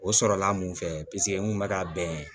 O sɔrɔla n mun fɛ paseke n kun bɛ ka bɛn